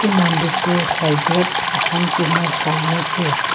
এই মন্দিৰটোৰ ছাইডত এখন টিনৰ চালি আছে।